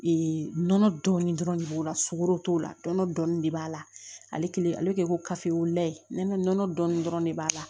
Ee nɔnɔ dɔɔnin dɔrɔn de b'o la sogo t'o la nɔnɔ dɔnni de b'a la ale kelen ale kɛ ko kafilan ye ne nɔnɔ dɔnni dɔrɔn de b'a la